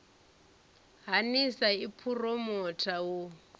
ha nlsa i phuromotha u